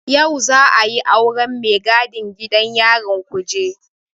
Yau za'a yi auren mai gadin gidan yarin Kuje.